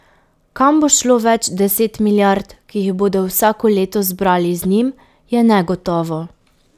Kam bo šlo več deset milijard, ki jih bodo vsako leto zbrali z njim, je negotovo.